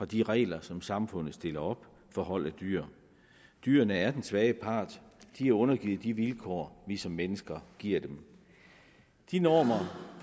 de regler som samfundet stiller op for hold af dyr dyrene er den svage part de er undergivet de vilkår vi som mennesker giver dem de normer